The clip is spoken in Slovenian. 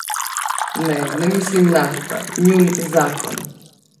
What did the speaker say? Ne, ne mislim nafta, njun zakon.